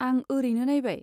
आं ओरैनो नायबाय।